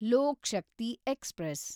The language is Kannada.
ಲೋಕ್ ಶಕ್ತಿ ಎಕ್ಸ್‌ಪ್ರೆಸ್